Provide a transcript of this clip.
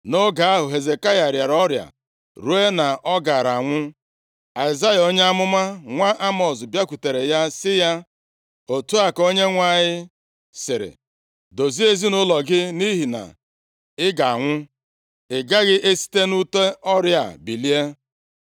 Nʼoge ahụ, Hezekaya rịara ọrịa ruo na ọ gaara anwụ. Aịzaya onye amụma nwa Emọz bịakwutere ya sị ya, “Otu a ka Onyenwe anyị sịrị, Dozie ezinaụlọ gị, nʼihi na ị ga-anwụ. Ị gaghị esite nʼute ọrịa a bilie.”